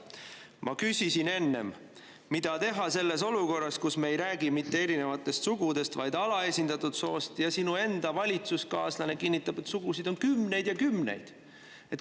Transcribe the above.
Ma küsisin enne, mida teha sellises olukorras, kus me ei räägi mitte erinevatest sugudest, vaid alaesindatud soost ja sinu enda valitsuskaaslane kinnitab, et sugusid on kümneid ja kümneid.